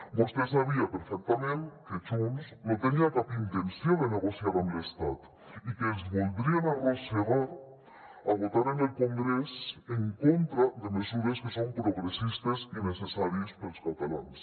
vostè sabia perfectament que junts no tenia cap intenció de negociar amb l’estat i que els voldrien arrossegar a votar en el congrés en contra de mesures que són progressistes i necessàries per als catalans